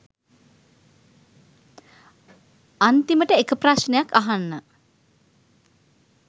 අන්තිමට එක ප්‍රශ්නයක් අහන්න